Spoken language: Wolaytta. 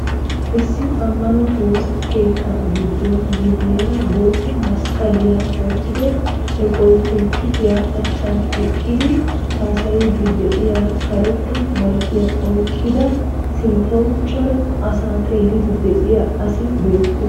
Issi amano woosa keettaa gidon guyeera boota masqaliya wottido eqqiyo pulpiittiya achan eqqidi haasayiidi de'iya, karetta maykkiya oyqqida, sinntawu cora asaa xeelliidi de'iyaaasi beettees.